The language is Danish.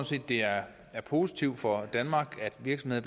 set det er positivt for danmark at virksomheder